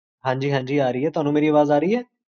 ਹਾਂਜੀ ਹਾਂਜੀ ਆ ਰਹੀ ਹੈ